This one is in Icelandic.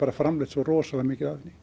framleitt svo rosalega mikið af henni